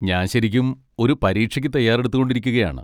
ഞാൻ ശരിക്കും ഒരു പരീക്ഷയ്ക്ക് തയ്യാറെടുത്തു കൊണ്ടിരിക്കുകയാണ്